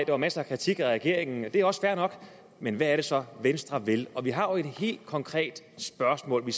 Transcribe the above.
var masser af kritik af regeringen det er også fair nok men hvad er det så venstre vil vi har et helt konkret spørgsmål vi